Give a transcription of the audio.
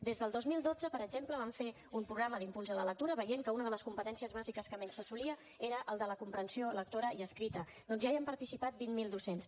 des del dos mil dotze per exemple vam fer un programa d’impuls a la lectura veient que una de les competències bàsiques que menys s’assolia era la de la comprensió lectora i escrita doncs ja hi ha participat vint mil docents